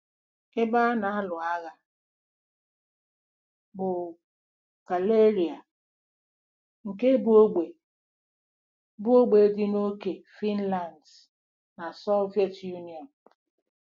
Ebe a na-alụ agha bụ Karelia ,nke bụ́ ógbè bụ́ ógbè dị n'ókè Finland na Soviet Union.